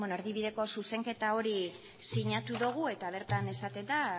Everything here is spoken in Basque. erdibideko zuzenketa hori sinatu dugu eta bertan esaten da